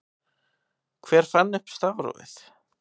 Hver fann upp stafrófið?